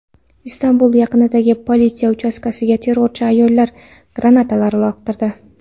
Istanbul yaqinidagi politsiya uchastkasiga terrorchi ayollar granatalar uloqtirdi.